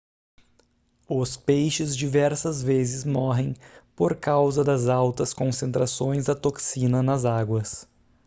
os peixes diversas vezes morrem por causa das altas concentrações da toxina nas águas